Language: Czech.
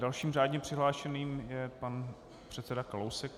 Dalším řádně přihlášeným je pan předseda Kalousek.